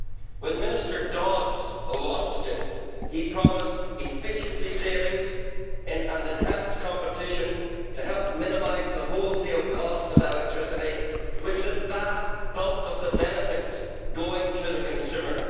When Minister Dodds launched it, he promised efficiency savings and enhanced competition to help minimise the wholesale costs of electricity, with the vast bulk of the benefits going to the consumer.